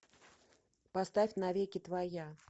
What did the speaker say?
поставь на веки твоя